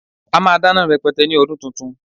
A máa dáná rẹpẹtẹ ní ọdún tuntun